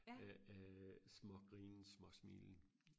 øh øh små grinen små smilen